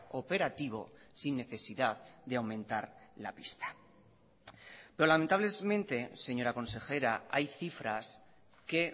operativo sin necesidad de aumentar la pista pero lamentablemente señora consejera hay cifras que